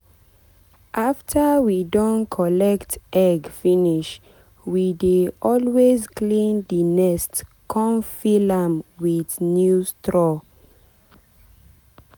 after we don collect egg finishwe dey always clean the nest con fill am with new straw.